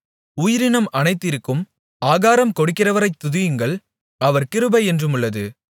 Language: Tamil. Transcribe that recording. உயிரினம் அனைத்திற்கும் ஆகாரம் கொடுக்கிறவரைத் துதியுங்கள் அவர் கிருபை என்றுமுள்ளது